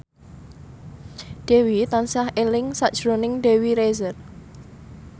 Dewi tansah eling sakjroning Dewi Rezer